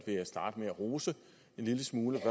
starte med at rose en lille smule